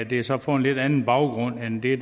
det er så på en lidt anden baggrund end det